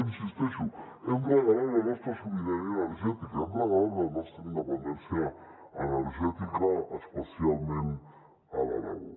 hi insisteixo hem regalat la nostra sobirania energètica hem regalat la nostra independència energètica especialment a l’aragó